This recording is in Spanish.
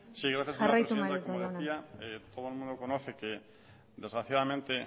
sí gracias señora presidenta como decía todo el mundo conoce que desgraciadamente